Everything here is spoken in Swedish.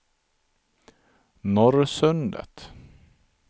Norrsundet